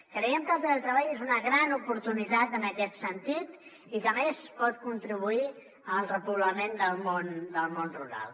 creiem que el teletreball és una gran oportunitat en aquest sentit i que a més pot contribuir al repoblament del món rural